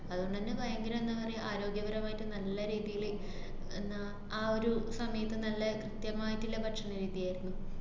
അതുകൊണ്ടന്നെ ഭയങ്കര എന്താ പറയ, ആരോഗ്യപരമായിട്ട് നല്ല രീതീല് എന്നാ ആ ഒരു സമയത്ത് നല്ല കൃത്യമായിട്ട്ള്ള ഭക്ഷണരീതിയാര്ന്നു.